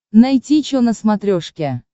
найти че на смотрешке